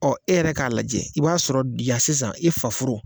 Ɔ e yɛrɛ k'a lajɛ i b'a sɔrɔ yan sisan e faforo